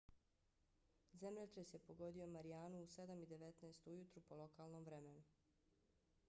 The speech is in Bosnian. zemljotres je pogodio marijanu u 07:19 ujutru po lokalnom vremenu petak u 09:19 uveče po gmt